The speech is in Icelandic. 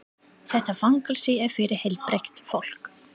Þetta fangelsi er fyrir heilbrigt fólk.